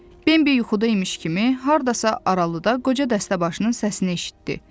Bembi yuxuda imiş kimi, hardasa aralıda qoca dəstəbaşının səsini eşitdi.